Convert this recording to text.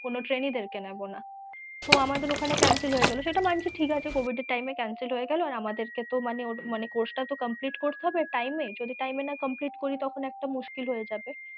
কোনো trainee দের কে নেব না তো আমাদের ঐখানে cancel হয়েগেল, সেটা মাঞ্চি ঠিকাছে covid এর time এ cancel হয়েগেল আর আমাদের কে তো course টা তো complete করতে হবে time এ, যদি time এ না complete করি তাহলে মুশকিল হয়েযাবে।